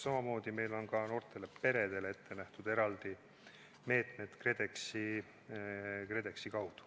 Samamoodi on noortele peredele ette nähtud eraldi meetmed KredExi kaudu.